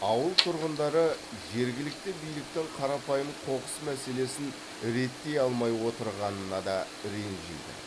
ауыл тұрғындары жергілікті биліктің қарапайым қоқыс мәселесін реттей алмай отырғанына да ренжиді